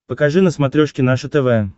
покажи на смотрешке наше тв